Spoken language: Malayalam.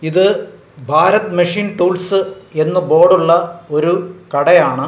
ഇത് ഭാരത് മെഷീൻ ടൂൾസ് എന്ന് ബോർഡ് ഉള്ള ഒരു കടയാണ്.